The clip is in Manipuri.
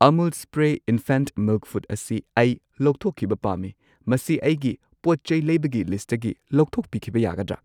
ꯑꯃꯨꯜ ꯁ꯭ꯄ꯭ꯔꯦ ꯢꯟꯐꯦꯟꯠ ꯃꯤꯜꯛ ꯐꯨꯗ ꯑꯁꯤ ꯑꯩ ꯂꯧꯊꯣꯛꯈꯤꯕ ꯄꯥꯝꯃꯤ, ꯃꯁꯤ ꯑꯩꯒꯤ ꯄꯣꯠꯆꯩ ꯂꯩꯕꯒꯤ ꯂꯤꯁꯠꯇꯒꯤ ꯂꯧꯊꯣꯛꯄꯤꯈꯤꯕ ꯌꯥꯒꯗ꯭ꯔꯥ?